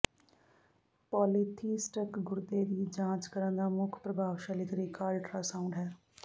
polytheistic ਗੁਰਦੇ ਦੀ ਜਾਂਚ ਕਰਨ ਦਾ ਮੁੱਖ ਪ੍ਰਭਾਵਸ਼ਾਲੀ ਤਰੀਕਾ ਅਲਟਰਾਸਾਊਂਡ ਹੈ